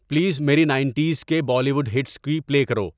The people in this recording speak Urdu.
پلیز میری نائنٹیز کے بالی ووڈ ہٹس کی پلے کرو